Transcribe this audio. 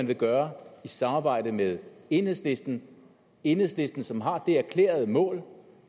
vil gøre i samarbejde med enhedslisten enhedslisten som har det erklærede mål